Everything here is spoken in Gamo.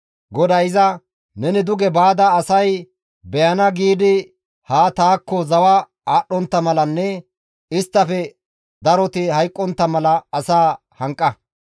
GODAY iza, «Neni duge baada asay beyana giidi haa taakko zawa aadhdhontta malanne isttafe daroti hayqqontta mala asaa hanqa.